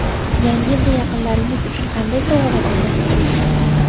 Yangi yilga yaqinlaringiz uchun qanday sovg‘alar olmoqchisiz?.